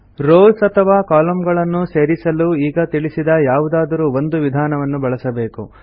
rows ಅಥವಾ ಕಾಲಮ್ನ್ಸ್ ಗಳನ್ನು ಸೇರಿಸಲು ಈಗ ತಿಳಿಸಿದ ಯಾವುದಾದರೂ ಒಂದು ವಿಧಾನವನ್ನು ಬಳಸಬೇಕು